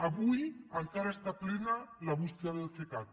avui encara està plena la bústia del cecat